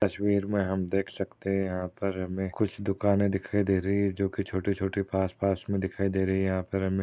तस्वीर में हम देख सकते है यहाँ पर हमें कुछ दुकाने दिखाई दे रही है जो कि छोटे-छोटे पास-पास में दिखाई दे रही है यहाँ पर हमें--